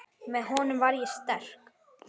Með honum var ég sterk.